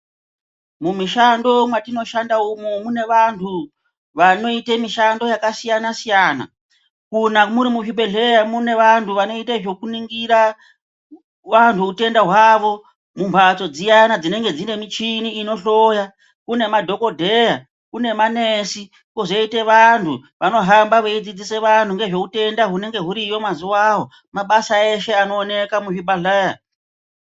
Mumishando mwatinoshanda umu mune vanhu vanoite mishando yakasiyana-siyana. Muri muzvibhehleya mune vanhu vanoite zvekuningira vantu utenda hwavo mumhatso dziyana dzinenge dzine michini inohloya. Kune madhokodheya, kune manesi kwozoite vanhu vanohamba veidzidzisa vanhu nezveutenda hunenge huriyo mazuwawo. Mabasa eshe anooneka muzvibhahleya.